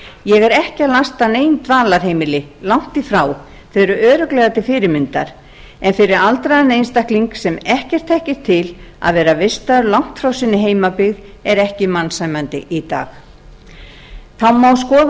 ég er ekki að lasta nein dvalarheimili langt í frá þau eru örugglega til fyrirmyndar en fyrir aldraðan einstakling sem ekkert þekkir til að vera vistaður langt frá sinni heimabyggð er ekki mannsæmandi í dag það má skoða